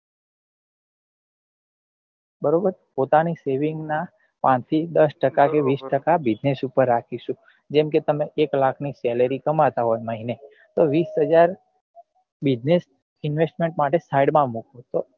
બરોબર પોતાની saving નાં પાંચ થી દસ ટકા કે વીસ ટકા business ઉપર રાખીશું જેમ કે તમે એક લાખ ની salar કમાતા હોય મહીને તો વીસ હજાર business investment માટે side માં મુકો તો આ